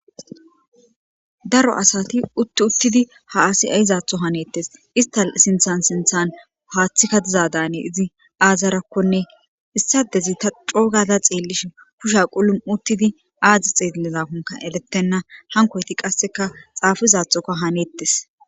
daro asati utti uttidi ha asi aizaatho haneettes ista sinthan sinthan haaththikka dizadane izi aazarakkone issadezita coogada xeellishe kusha qulun uttidi aadzi xeelizakonka elettenna hankoyti qasseka xaafizathoka haneettes